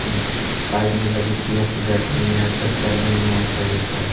इस साइड में लगे चेयर पे बैठे हुए हैं अक्सर सैलून में ऐसा ही होता है।